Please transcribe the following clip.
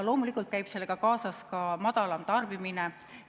Loomulikult käib sellega kaasas ka madalam tarbimine.